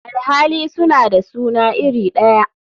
Alhali suna da suna iri daya.